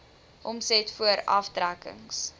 omset voor aftrekkings